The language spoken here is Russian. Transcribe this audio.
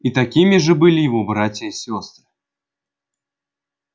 и такими же были его братья и сестры